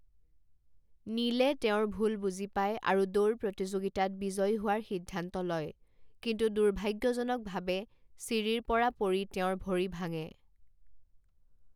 নীলে তেওঁৰ ভুল বুজি পায় আৰু দৌৰ প্ৰতিযোগিতাত বিজয়ী হোৱাৰ সিদ্ধান্ত লয়, কিন্তু দুৰ্ভাগ্যজনকভাৱে চিৰিৰ পৰা পৰি তেওঁৰ ভৰি ভাঙে।